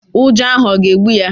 Ụjọ ahụ ọ̀ ga-egbu ya?